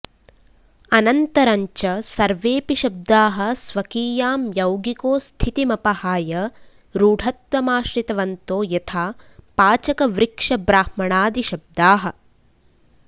अनन्तरञ्च सर्वेऽपि शब्दाः स्वकीयां यौगिको स्थितिमपहाय रूढत्वमाश्रितवन्तो यथा पाचकवृक्षब्राह्मणादिशब्दाः